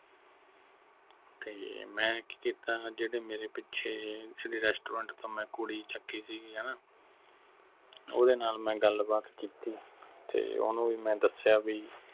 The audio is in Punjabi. ਤੇ ਮੈਂ ਕੀ ਕੀਤਾ ਜਿਹੜੇ ਮੇਰੇ ਪਿੱਛੇ ਜਿਹੜੇ restaurant ਤੋਂ ਮੈਂ ਕੁੜੀ ਚੱਕੀ ਸੀਗੀ ਹਣਾ ਓਹਦੇ ਨਾਲ ਮੈਂ ਗੱਲਬਾਤ ਕੀਤੀ ਤੇ ਓਹਨੂੰ ਵੀ ਮੈਂ ਦਸਿਆ ਬਈ